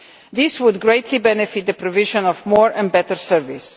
This would greatly benefit the provision of more and better services.